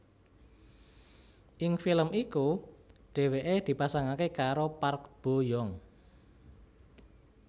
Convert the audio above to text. Ing film iku dheweke dipasangake karo Park Bo Young